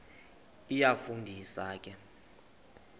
iyafu ndisa ke